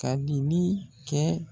Ka dili kɛ